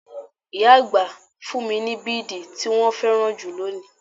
Ìyá àgbà fún mi bidi tí wọn féràn jù lónìí.